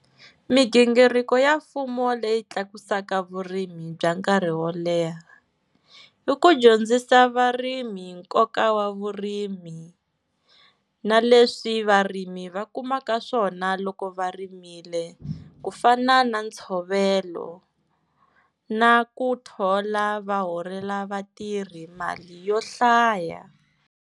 Migingiriko ya mfumo leyi tlakusaka vurimi bya nkarhi wo leha, i ku dyondzisa varimi nkoka wa vurimi, na leswi varimi va kumaka swona loko va rimile, ku fana na ntshovelo na ku thola va holela vatirhi mali yo hlaya.